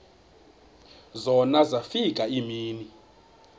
zona zafika iimini